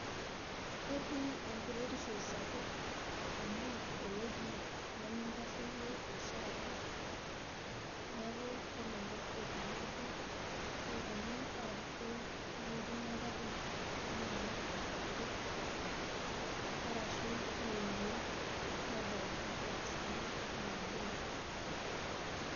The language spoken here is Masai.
Ketii enkuretishovsapuk amu ewueji nemitasheyie oshiake neaku kelelek etii laruok opuno apuroo ntokitin engari anaa enkeju arashu ninyel nedany ngilasini enaduoari.